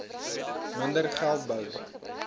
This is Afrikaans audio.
minder geld bou